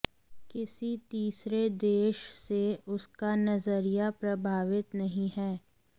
किसी तीसरे देश से उसका नजरिया प्रभावित नहीं है